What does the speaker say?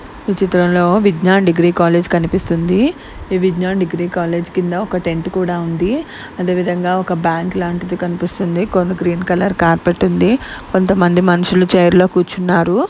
ఈ చిత్రంలో Vignan degree college కనిపిస్తుంది. ఈ విజ్ఞాన్ డిగ్రీ కాలేజ్ కింద ఒక టెంటు కూడా ఉంది. అదే విధంగా ఒక బ్యాంకు లాంటిది కనిపిస్తూ ఉంది కొంత గ్రీన్ కలర్ కార్పెట్ ఉంది. కొంతమంది మనుషులు చైర్ లో కూర్చున్నారు.